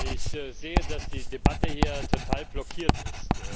Ich sehe, dass die Debatte hier total blockiert ist.